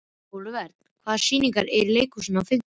Olivert, hvaða sýningar eru í leikhúsinu á fimmtudaginn?